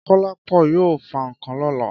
Kọ́lápọ̀ yóò fa ǹkan lọ́la.